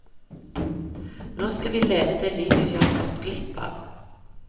Nå skal vi leve det livet vi har gått glipp av.